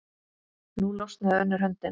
Nú losnaði önnur höndin.